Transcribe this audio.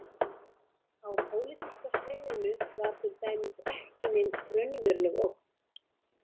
Á pólitíska sviðinu var til dæmis ekki nein raunveruleg ógn.